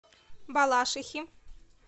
балашихи